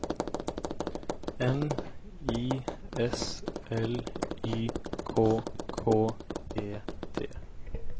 M I S L Y K K E T